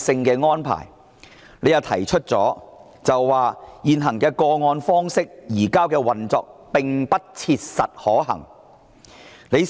局長表示現時以個案方式移交逃犯，運作上並不切實可行。